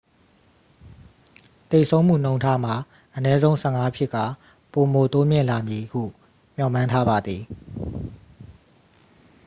သေဆုံးမှုနှုန်းထားမှာ အနည်းဆုံး 15 ဖြစ်ကာ ပိုမိုတိုးမြင့်လာမည်ဟု မျှော်မှန်းထားပါသည်